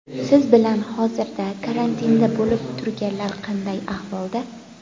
Siz bilan hozirda karantinda bo‘lib turganlar qanday ahvolda?